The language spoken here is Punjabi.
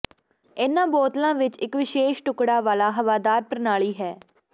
ਇਨ੍ਹਾਂ ਬੋਤਲਾਂ ਵਿਚ ਇਕ ਵਿਸ਼ੇਸ਼ ਟੁਕੜਾ ਵਾਲਾ ਹਵਾਦਾਰ ਪ੍ਰਣਾਲੀ ਹੈ